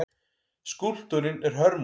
Skúlptúrinn er hörmung.